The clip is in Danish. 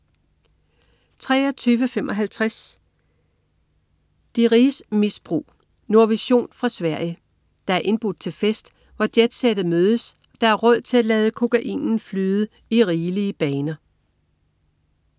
23.55 De riges misbrug. Nordvision fra Sverige. Der er indbudt til fest, hvor jetsettet mødes og der er råd til at lade kokain flyde i rigelige baner